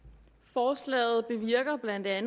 forslaget bevirker bla